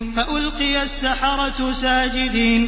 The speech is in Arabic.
فَأُلْقِيَ السَّحَرَةُ سَاجِدِينَ